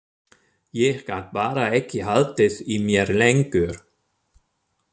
Ég gat bara ekki haldið í mér lengur.